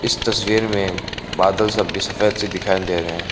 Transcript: इस तस्वीर में बादल सब भी सफेद से दिखाई दे रहें --